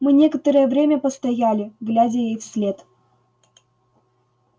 мы некоторое время постояли глядя ей вслед